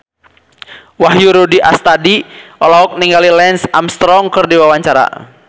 Wahyu Rudi Astadi olohok ningali Lance Armstrong keur diwawancara